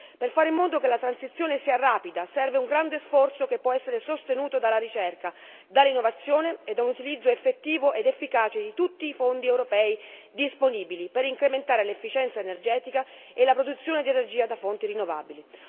Per fare in modo che la transizione sia rapida serve un grande sforzo che può essere sostenuto dalla ricerca, dall'innovazione e da un utilizzo effettivo ed efficace di tutti i fondi europei disponibili, per incrementare l'efficienza energetica e la produzione di energia da fonti rinnovabili.